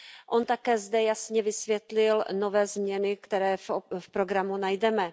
On také zde jasně vysvětlil nové změny, které v programu najdeme.